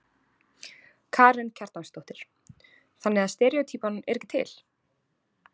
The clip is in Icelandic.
Karen Kjartansdóttir: Þannig að steríótýpan er ekki til?